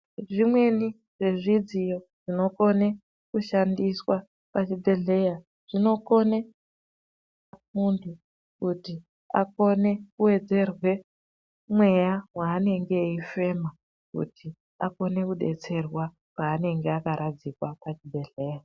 Zvimweni zvezvidziyo zvinokone kushandiswa pachibhedhleya zvinokone muntu kuti akone kuwedzerwe mweya waanenge eifema kuti akone kudetserwa paanenge akaradzikwa pachibhedhleya.